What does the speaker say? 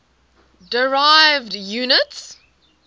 derived units